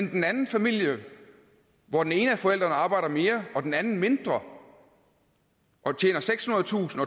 i den anden familie hvor den ene af forældrene arbejder mere og den anden arbejder mindre og tjener sekshundredetusind